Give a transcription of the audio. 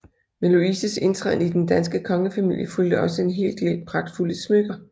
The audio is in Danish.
Med Louises indtræden i den danske kongefamilie fulgte også en hel del pragtfulde smykker